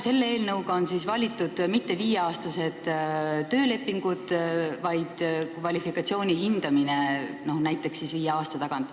Selle eelnõuga on siis ette nähtud mitte viieaastased töölepingud, vaid kvalifikatsiooni hindamine, no näiteks siis viie aasta tagant.